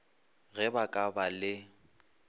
ge ba ka ba le